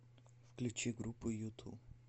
включи группу юту